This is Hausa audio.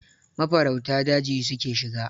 Mafarauta daji su ke shiga.